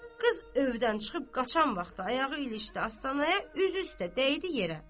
Qız övdən çıxıb qaçan vaxtı ayağı ilişdi astanaya, üz üstə dəydi yerə.